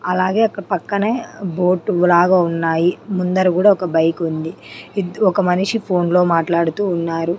అలాగే అక్కడ్ పక్కనే బోటు లాగా ఉన్నాయి ముందర కుడా ఒక బైకుంది ఇద్ ఒక మనిషి ఫోన్లో మాట్లాడుతూ వున్నారు.